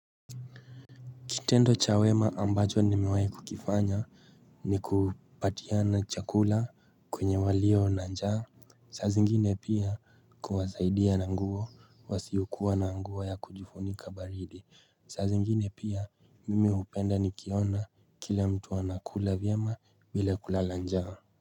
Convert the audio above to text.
Kitendo cha wema ambacho nimewai kukifanya ni kuwapatiana chakula kwenye walio na njaa. Saa ziingine pia kuwasaidia na nguo wasiokuwa na nguo ya kujifunika baridi. Saa ziingine pia mimi hupenda nikiona kila mtu anakula vyema bila kulala njaa.